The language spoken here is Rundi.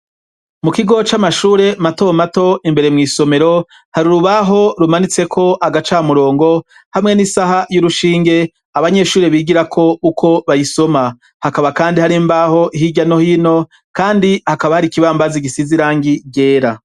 Mu kigo c'amashure mato mato, imbere mw' isomero hari urubaho rumanitseko agacamurongo hamwe n'isaha y'urushinge abanyeshuri bigira ko uko bayisoma . Hakaba kandi hari mbaho hirya no hino kandi hakaba hari ikibambazi gisize irangi ryera.